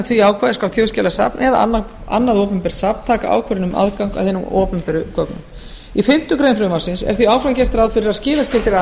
því ákvæði skal þjóðskjalasafn eða annað opinbert safn taka ákvörðun um aðgang að hinum opinberu gögnum í fimmtu grein frumvarpsins er því áfram gert ráð fyrir að skilaskyldir